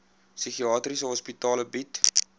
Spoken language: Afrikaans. psigiatriese hospitale bied